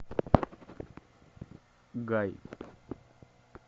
гай